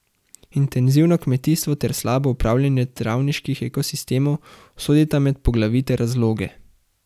Intenzivno kmetijstvo ter slabo upravljanje travniških ekosistemov sodita med poglavitne razloge.